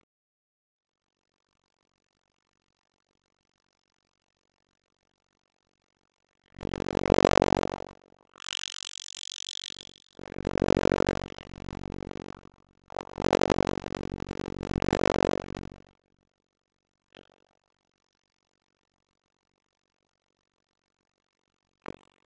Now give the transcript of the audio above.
Loks er hún komin upp.